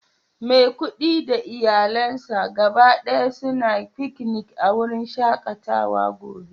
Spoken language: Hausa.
Maikudi da iyalansa gaba daya suna fiki a wurin shakatawa gobe